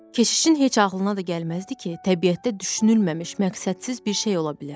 Keşişin heç ağıllına da gəlməzdi ki, təbiətdə düşünülməmiş məqsədsiz bir şey ola bilər.